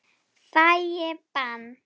Fæ ég bann?